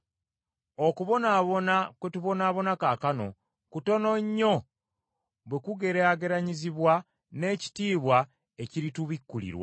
Okubonaabona kwe tubonaabona kaakano kutono nnyo bwe kugeraageranyizibwa n’ekitiibwa ekiritubikulirwa.